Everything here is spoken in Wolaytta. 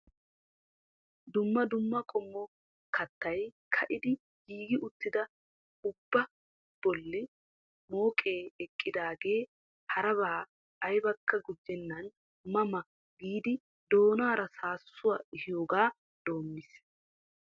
Dumma dumma qommo kattay ka"idi giigi uttidaa ubbaa bolli mooqee eqqidaagee haraba aybakka guujjenan ma ma giidi doonaara saasuwaa ehiyoogaa doommiis.